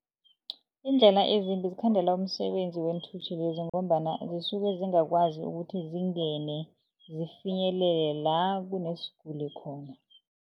Iindlela ezimbi zikhandela umsebenzi weenthuthi lezi ngombana zisuke zingakwazi ukuthi zingene zifinyelela kunesiguli khona.